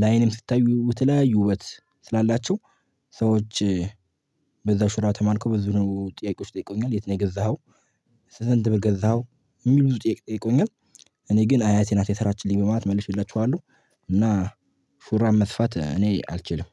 ለአይንም ስታዩ በተለያዩ ውበት ስላላቸው ሰዎች በዛ ሹራብ ተማርከው ብዙ ነው ጥያቄዎች ጠይቀውኛል የት ነው የገዛኸው? ስንት ብር ገዛኸው? የሚሉ ጥያቄ ጠይቀውኛል። እኔ ግን አያቴ ናት የሰራችልኝ በማለት መልሺላችኋለሁ። እና ሹራብ መስፋት እኔ አልችልም።